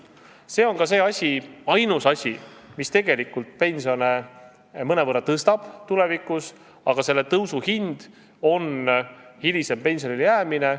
See on ainus asi, mis tegelikult pensione tulevikus mõnevõrra tõstab, aga selle tõusu hind on hilisem pensionile jäämine.